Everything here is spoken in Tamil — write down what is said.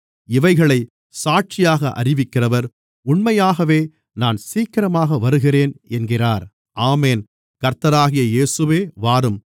இவைகளைச் சாட்சியாக அறிவிக்கிறவர் உண்மையாகவே நான் சீக்கிரமாக வருகிறேன் என்கிறார் ஆமென் கர்த்தராகிய இயேசுவே வாரும்